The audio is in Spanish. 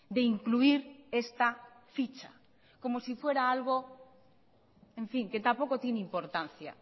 de incluir esta ficha como si fuera algo en fin que tampoco tiene importancia